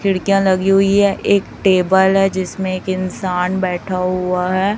खिड़कियां लगी हुई है एक टेबल है जिसमें एक इंसान बैठा हुआ है।